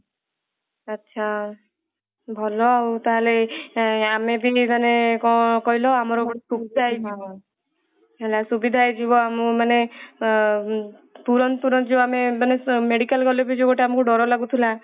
ଆଚ୍ଛା ଭଲ ଆଉ ତାହେଲେ ଆମେ ବି ମାନେ କଣ କହିଲ ହେଲା ସୁବିଧା ହେଇଯିବ ମାନେ ଆଁ ତୁରନ୍ତ ତୁରନ୍ତ ଯୋଊ ମାନେ medical ଗଲେ ଯୋଊ ଡର ଲାଗୁଥିଲା